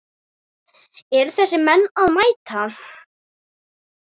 Eru þessir menn að mæta?